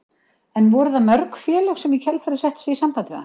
En voru það mörg félög sem í kjölfarið settu sig í samband við hann?